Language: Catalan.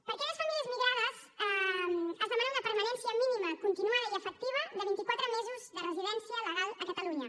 per a aquelles famílies migrades es demana una permanència mínima continuada i efectiva de vint i quatre mesos de residència legal a catalunya